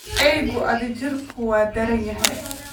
Eeyga adhijirku waa daran yahay